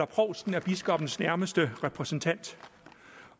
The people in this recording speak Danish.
provsten er biskoppens nærmeste repræsentant